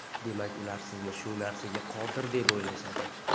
demak ular sizni shu narsaga qodir deb o‘ylashadi.